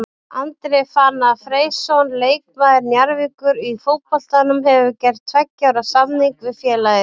Andri Fannar Freysson leikmaður Njarðvíkur í fótboltanum hefur gert tveggja ára samning við félagið.